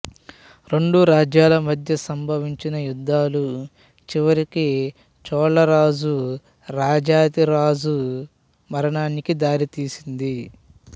రెండు రాజ్యాల మద్య సంభవించిన యుద్ధాలు చివరికి చోళరాజు రాజాధిరాజ మరణానికి దారితీసింది